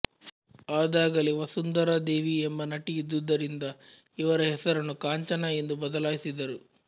ಅದಾಗಲೇ ವಸುಂಧರಾ ದೇವಿ ಎಂಬ ನಟಿ ಇದ್ದುದರಿಂದ ಇವರ ಹೆಸರನ್ನು ಕಾಂಚನಾ ಎಂದು ಬದಲಾಯಿಸಿದರು